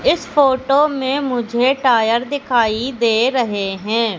इस फोटो में मुझे टायर दिखाई दे रहे हैं।